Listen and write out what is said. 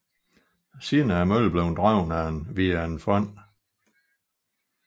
Siden er møllen blevet drevet via en fond